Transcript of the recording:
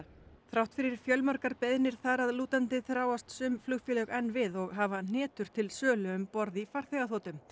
þrátt fyrir fjölmargar beiðnir þar að lútandi þráast sum flugfélög enn við og hafa hnetur til sölu um borð í farþegaþotum